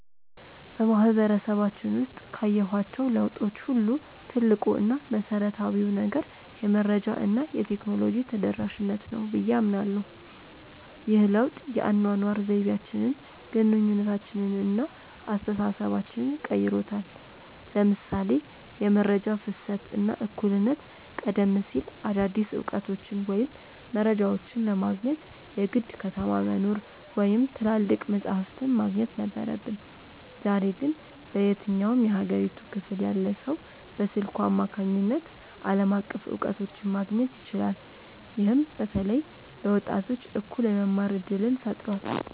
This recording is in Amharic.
በማህበረሰባችን ውስጥ ካየኋቸው ለውጦች ሁሉ ትልቁ እና መሰረታዊው ነገር "የመረጃ እና የቴክኖሎጂ ተደራሽነት" ነው ብዬ አምናለሁ። ይህ ለውጥ የአኗኗር ዘይቤያችንን፣ ግንኙነታችንን እና አስተሳሰባችንን ቀይሮታል ለምሳሌ የመረጃ ፍሰት እና እኩልነት ቀደም ሲል አዳዲስ እውቀቶችን ወይም መረጃዎችን ለማግኘት የግድ ከተማ መኖር ወይም ትላልቅ መጻሕፍት ማግኘት ነበረብን። ዛሬ ግን በየትኛውም የሀገሪቱ ክፍል ያለ ሰው በስልኩ አማካኝነት ዓለም አቀፍ እውቀቶችን ማግኘት ይችላል። ይህም በተለይ ለወጣቶች እኩል የመማር እድልን ፈጥሯል።